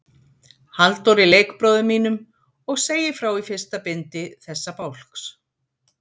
Halldóri leikbróður mínum, og segir frá í fyrsta bindi þessa bálks.